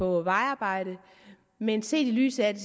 vejarbejde men set i lyset af at det